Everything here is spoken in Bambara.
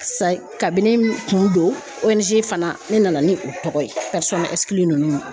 sa kun don ONG fana ne nana ni o tɔgɔ ye ninnu